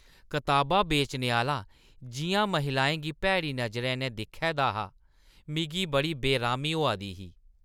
कताबां बेचने आह्‌ला जिʼयां महिलाएं गी भैड़ी नजरी नै दिक्खै दा हा, मिगी बड़ी बेरामी होआ दी ही।